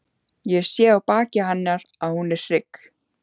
Ég sé á baki hennar að hún er hrygg.